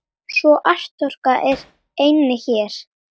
Svo atorkan er einnig hér.